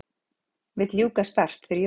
Vill ljúka START fyrir jól